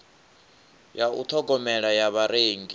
ya u ṱhogomela ya vharengi